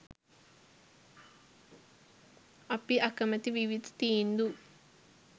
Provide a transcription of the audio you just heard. අපි අකමැති විවිධ තීන්දු